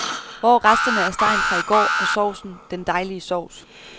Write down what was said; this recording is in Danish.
Hvor er resterne af stegen fra i går, og sovsen, den dejlige sovs?